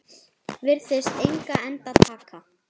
Virðist engan enda taka.